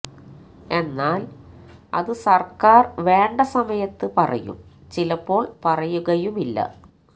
എന്നാൽ അത് സർക്കാർ വേണ്ട സമയത്ത് പറയും ചിലപ്പോൾ പറയുകയുമില്ല